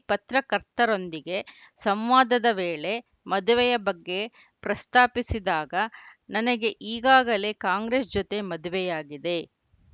ಪತ್ರಕರ್ತರೊಂದಿಗೆ ಸಂವಾದದ ವೇಳೆ ಮದುವೆಯ ಬಗ್ಗೆ ಪ್ರಸ್ತಾಪಿಸಿದಾಗ ನನಗೆ ಈಗಾಗಲೇ ಕಾಂಗ್ರೆಸ್‌ ಜೊತೆ ಮದುವೆಯಾಗಿದೆ